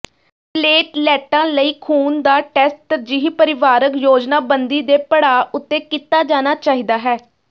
ਪਲੇਟਲੈਟਾਂ ਲਈ ਖੂਨ ਦਾ ਟੈਸਟ ਤਰਜੀਹੀ ਪਰਿਵਾਰਕ ਯੋਜਨਾਬੰਦੀ ਦੇ ਪੜਾਅ ਉੱਤੇ ਕੀਤਾ ਜਾਣਾ ਚਾਹੀਦਾ ਹੈ